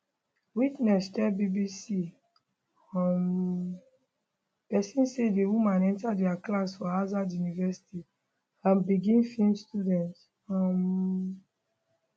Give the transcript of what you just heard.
witness tell bbc um persian say di woman enta dia class for azad university and begin feem students um